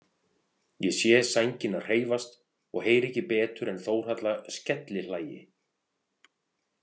Ég sé sængina hreyfast og heyri ekki betur en Þórhalla skellihlæi.